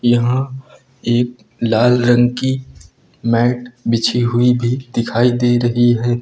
यहां एक लाल रंग की मैट बिछी हुई भी दिखाई दे रही है।